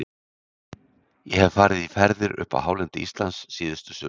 Ég hef farið í ferðir upp á hálendi Íslands síðustu sumur.